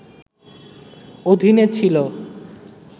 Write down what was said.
অধীনে ছিলো